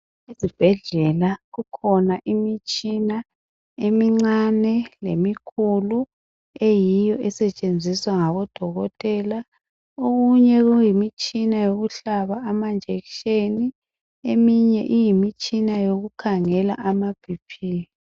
Ezibhedlela kukhona imitshina emincane lemikhulu eyiyo esetshenziswa ngabodokotela. Okunye kuyimitshina yokuhlaba amanjekisheni eminye kuyimitshina yokukhangela amaBP.